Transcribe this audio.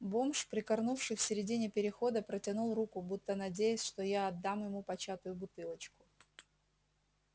бомж прикорнувший в середине перехода протянул руку будто надеясь что я отдам ему початую бутылочку